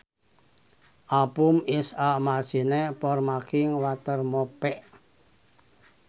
A pump is a machine for making water move